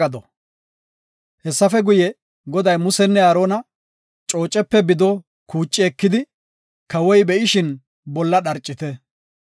Hessafe guye, Goday Musenne Aarona, “Coocepe bido kuuci ekidi, kawoy be7ishin bolla dharcite.